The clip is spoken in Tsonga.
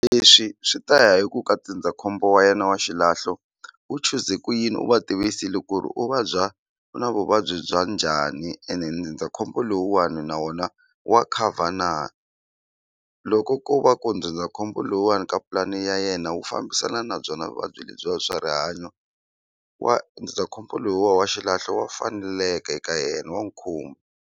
Leswi swi ta ya hi ku ka ndzindzakhombo wa yena wa xilahlo wu chuze ku yini u va tivisile ku ri u vabya u na vuvabyi bya njhani ene ndzindzakhombo lowuwani na wona wa cover na loko ko va ku ndzindzakhombo lowuwani ka pulani ya yena wu fambisana na byona vuvabyi lebyiwa swa rihanyo wa ndzindzakhombo lowuwa wa xilahlo wa faneleka eka yena wa n'wu .